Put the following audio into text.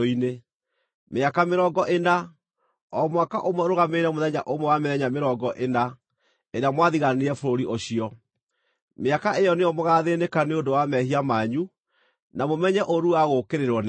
Mĩaka mĩrongo ĩna, o mwaka ũmwe ũrũgamĩrĩire mũthenya ũmwe wa mĩthenya mĩrongo ĩna ĩrĩa mwathigaanire bũrũri ũcio, mĩaka ĩyo nĩyo mũgaathĩnĩka nĩ ũndũ wa mehia manyu, na mũmenye ũũru wa gũũkĩrĩrwo nĩ niĩ.’